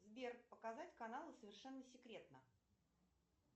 сбер показать каналы совершенно секретно